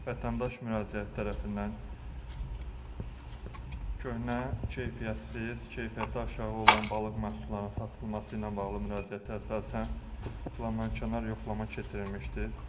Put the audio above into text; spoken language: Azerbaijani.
vətəndaş müraciətlər tərəfindən köhnə, keyfiyyətsiz, keyfiyyəti aşağı olan balıq məhsullarının satılması ilə bağlı müraciətə əsasən planankənar yoxlama keçirilmişdir.